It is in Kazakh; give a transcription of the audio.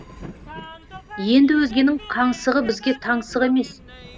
енді өзгенің қаңсығы бізге таңсық емес